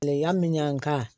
Kileyan min ka